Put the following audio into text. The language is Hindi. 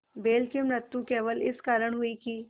बैल की मृत्यु केवल इस कारण हुई कि